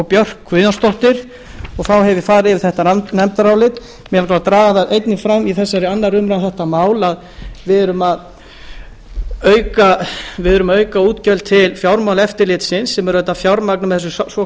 björk guðjónsdóttir þá hef ég farið yfir þetta nefndarálit mig langar til að draga það einnig fram í þessari annarrar umræðu um þetta mál að við erum að auka útgjöld til fjármálaeftirlitsins sem er auðvitað fjármagnað með þessu